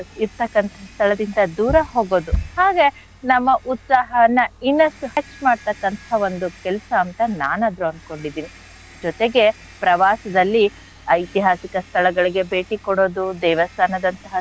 ಇರ್ತಕ್ಕಂಥ ಸ್ಥಳದಿಂದ ದೂರ ಹೋಗೋದು ಹಾಗೆ ನಮ್ಮ ಉತ್ಸಾಹನ ಇನ್ನಷ್ಟು ಹೆಚ್ ಮಾಡ್ತಕ್ಕಂಥ ಒಂದು ಕೆಲ್ಸ ಅಂತ ನಾನಾದ್ರೂ ಅನ್ಕೊಂಡಿದೀನಿ ಜೊತೆಗೆ ಪ್ರವಾಸದಲ್ಲಿ ಐತಿಹಾಸಿಕ ಸ್ಥಳಗಳಿಗೆ ಭೇಟಿ ಕೊಡೋದು, ದೇವಸ್ಥಾನದಂಥಹ,